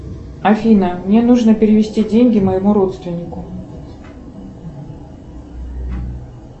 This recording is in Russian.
афина мне нужно перевести деньги моему родственнику